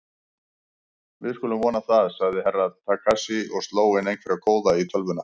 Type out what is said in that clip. Við skulum vona það, sagði Herra Takashi og sló inn einhverja kóða í tölvuna.